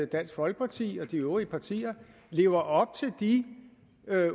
dansk folkeparti og de øvrige partier lever op til de